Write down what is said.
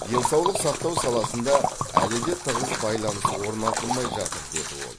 денсаулық сақтау саласында әлі де тығыз байланыс орнатылмай жатыр деді ол